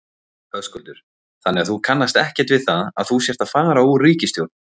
Höskuldur: Þannig þú kannast ekkert við það að þú sért að fara úr ríkisstjórn?